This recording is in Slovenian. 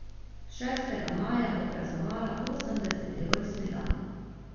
Šestega maja bo praznovala osemdeseti rojstni dan.